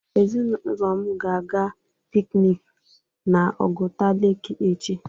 Ezinaụlọ m ga-aga piknik na Oguta leeki echi.